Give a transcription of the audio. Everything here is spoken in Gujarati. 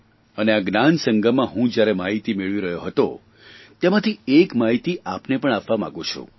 અને આ જ્ઞાનસંગમમાં હું જ્યારે માહિતી મેળવી રહ્યો હતો તેમાંથી એક માહિતી આપને પણ આપવા માગું છું